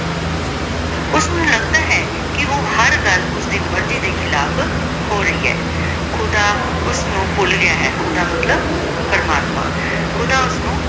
ਲਗਦਾ ਹੈ ਕੇ ਊ ਹਰ ਗਲ ਓਸਦੀ ਮਰਜ਼ੀ ਦੇ ਖਿਲਾਫ਼ ਹੋ ਰਹੀ ਆਯ ਖੁਦਾ ਖੁਦਾ ਓਸਨੂ ਭੁਲ ਗਯਾ ਹੈ ਖੁਦਾ ਮਤਲਬ ਪਰਮਾਤਮਾ ਖੁਦਾ ਓਸਨੂ ਭੁਲ ਗਯਾ ਹੈ ਸ਼ਾਹੀ ਮਹਲ ਵਿਚ ਰੰਗ ਰੰਗ੍ਲਿਯਾਂ